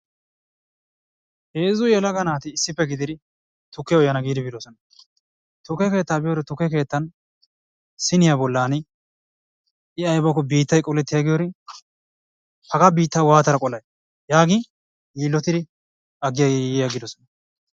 Heezzu yelaga naati issippe gididi tukkiya uyana giidi biidoosona. Tukke keettaa biyore tukke keettaa siniyaa bollan I aybbakko biittay qoletigiyorn haggaa biittaa waattada qolay yaagin yilotiri agi agirosona.